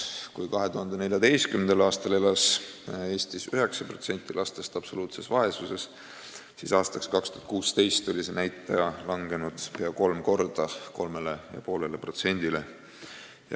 Kui 2014. aastal elas Eestis 9% lastest absoluutses vaesuses, siis aastaks 2016 oli see näitaja langenud pea kolm korda – 3,5%-le.